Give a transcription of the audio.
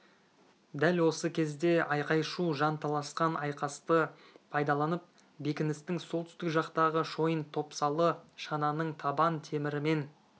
дәл осы кезде айқай-шу жан таласқан айқасты пайдаланып бекіністің солтүстік жақтағы шойын топсалы шананың табан темірімен